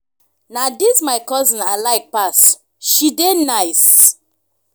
na dis my cousin i like pass she dey nice.